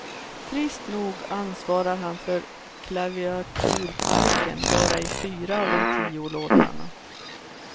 Trist nog ansvarar han för klaviaturparken bara i fyra av de tio låtarna.